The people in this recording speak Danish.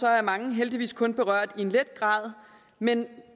er mange heldigvis kun berørt i let grad men